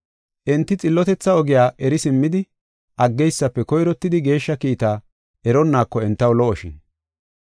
Enti xillotetha ogiya eri simmidi aggeysafe koyrottidi geeshsha kiitta eronnaako entaw lo77oshin.